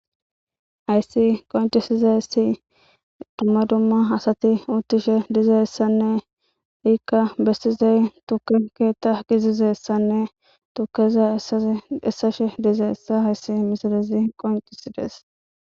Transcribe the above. Aayssi qoncisizassi dumma dumma asati uttishe dizeyssanne ikka bessizey tukenke ta gizizessanne tukeza esa essashe dizeessa hayssi misilezi qoncisides